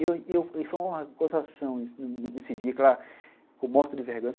E e foi uma gozação nesse dia que ela ficou morta de vergonha.